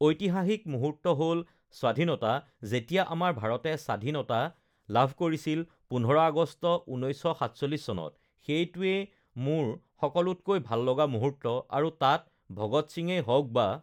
ঐতিহাসিক মুহূৰ্ত হ'ল স্বাধীনতা যেতিয়া আমাৰ uhh ভাৰতে স্বাধীনতা লাভ কৰিছিল পোন্ধৰ আগষ্ট উনৈছশ সাতচল্লিছ চনত সেইটোৱে মোৰ সকলোতকৈ ভাল লগা মুহূৰ্ত আৰু তাতে uhh ভগত সিঙেই হওক বা